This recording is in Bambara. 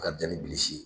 A ka jan ni bilisi ye